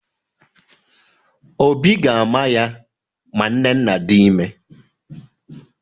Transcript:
Obi ga-ama ya ma nnenna dị ime